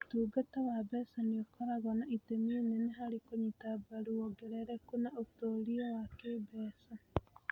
Ũtungata wa mbeca nĩ ũkoragwo na itemi inene harĩ kũnyita mbaru wongerereku na ũtuĩria wa kĩĩmbeca.